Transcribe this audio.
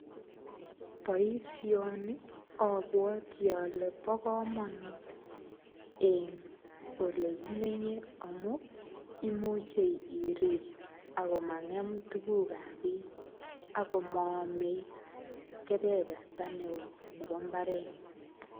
Boisoni abwati ale bo komonut eng ole kimenye amuu, imuche irip akomang'em tugukab bich, ako maame keberberta ne oo nebo mbaret.